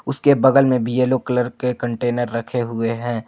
उसके बगल में भी येलो कलर के कंटेनर रखे हुए हैं।